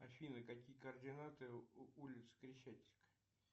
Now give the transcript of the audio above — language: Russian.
афина какие координаты улицы крещатик